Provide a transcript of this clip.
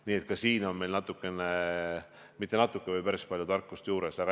Nii et ka selles mõttes saime natukene, õigemini mitte natuke, vaid päris palju tarkust juurde.